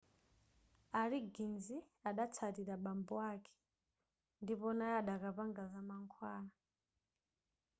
a liggins adatsatira bambo ake ndipo naye adakapanga zamankhwala